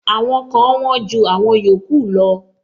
Àwọn kan wón ju àwọn yòókù lọ.